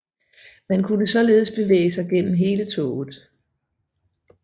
Man kunne således bevæge sig gennem hele toget